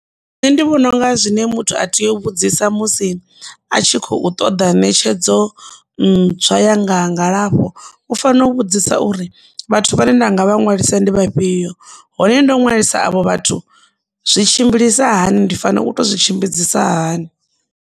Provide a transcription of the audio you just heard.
Nṋe ndi vhona unga zwine muthu a tea u vhudzisa musi a tshi khou ṱoḓa ṋetshedzo zwa yanga ha ngalafho u fanela u vhudzisa uri vhathu vha ne nda nga vha ṅwalisa ndi vhafhio hone ndo ṅwalisa avho vhathu zwi tshimbilisa hani ndi fanela u to zwi tshimbidzisa hani.